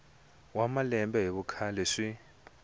wa malembe hi vukhale swi